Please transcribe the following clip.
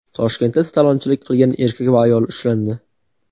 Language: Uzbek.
Toshkentda talonchilik qilgan erkak va ayol ushlandi.